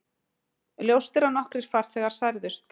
Ljóst er að nokkrir farþegar særðust